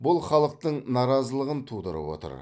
бұл халықтың наразылығын тудырып отыр